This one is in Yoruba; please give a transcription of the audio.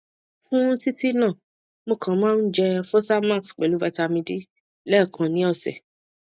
fún títí náà mo kàn ń jẹ fosamax pelu vitamin d lẹẹkan ni ọsẹ